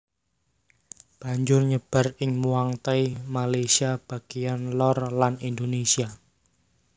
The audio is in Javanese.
Banjur nyebar ing Muangthai Malaysia bagèyan lor lan Indonesia